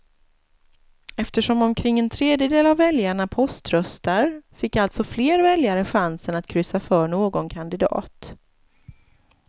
Eftersom omkring en tredjedel av väljarna poströstar fick alltså fler väljare chansen att kryssa för någon kandidat.